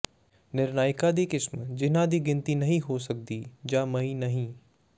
ਨਿਰਣਾਇਕਾਂ ਦੀ ਕਿਸਮ ਜਿਨ੍ਹਾਂ ਦੀ ਗਿਣਤੀ ਨਹੀਂ ਹੋ ਸਕਦੀ ਜਾਂ ਮਈ ਨਹੀਂ